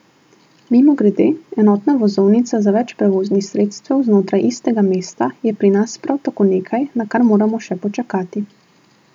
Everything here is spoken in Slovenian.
Mimogrede, enotna vozovnica za več prevoznih sredstev znotraj istega mesta je pri nas prav tako nekaj, na kar moramo še počakati.